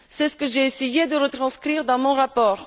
C'est ce que j'ai essayé de retranscrire dans mon rapport.